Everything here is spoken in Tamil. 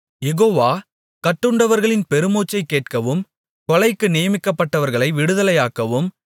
யெகோவா கட்டுண்டவர்களின் பெருமூச்சைக் கேட்கவும் கொலைக்கு நியமிக்கப்பட்டவர்களை விடுதலையாக்கவும்